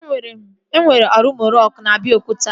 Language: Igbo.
E nwere Olumo rock na Abiokuta